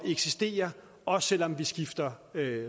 eksistere også selv om vi skifter